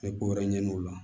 N bɛ ko wɛrɛ ɲini o la